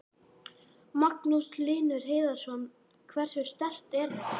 Magnús Hlynur Hreiðarsson: Hversu sterkt er þetta?